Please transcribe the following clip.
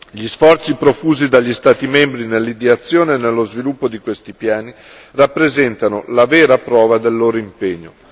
Gli sforzi profusi dagli Stati membri nell'ideazione e nello sviluppo di questi piani rappresentano la vera prova del loro impegno.